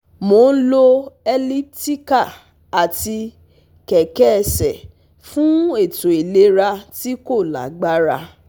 Mo n lò elliptical ati kẹkẹ ẹsẹ fun eto ilera ti ko lagbara